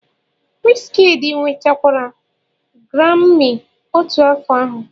Wizkidii nwetakwara Garami otu afọ ahụ.